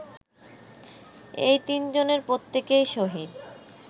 এই তিনজনের প্রত্যেকেই শহীদ